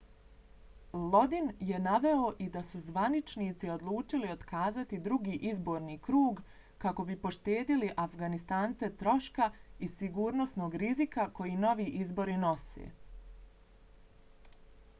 lodin je naveo i da su zvaničnici odlučili otkazati drugi izborni krug kako bi poštedjeli afganistance troška i sigurnosnog rizika koje novi izbori nose